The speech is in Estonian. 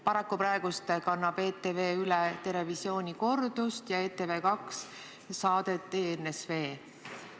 Paraku praegu kannab ETV üle "Terevisiooni" kordust ja ETV2 saadet "ENSV".